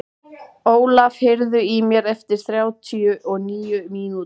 Ólaf, heyrðu í mér eftir þrjátíu og níu mínútur.